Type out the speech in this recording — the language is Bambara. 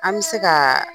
An bɛ se ka